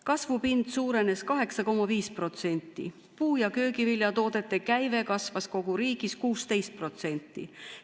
Kasvupind suurenes 8,5%, puu- ja köögiviljatoodete käive kasvas kogu riigis 16%.